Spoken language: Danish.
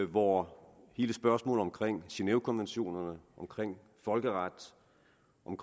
hvor hele spørgsmålet om genèvekonventionerne folkeretten